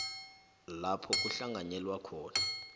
lapha kuhlanganyelwa khona